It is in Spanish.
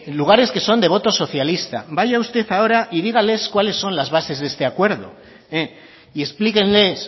lugares que son de voto socialista vaya usted ahora y dígales cuáles son las bases de este acuerdo y explíquenles